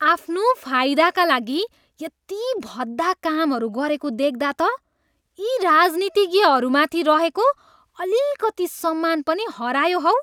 आफ्नो फाइदाका लागि यति भद्दा कामहरू गरेको देख्दा त यी राजनितिज्ञहरूमाथि रहेको अलिकति सम्मान पनि हरायो हौ!